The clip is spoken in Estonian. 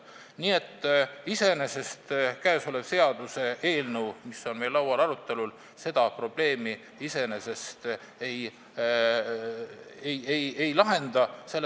Nii et seaduseelnõu, mis on meil siin laual arutelul, seda probleemi iseenesest ei lahenda.